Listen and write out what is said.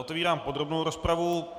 Otvírám podrobnou rozpravu.